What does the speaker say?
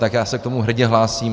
Tak já se k tomu hrdě hlásím.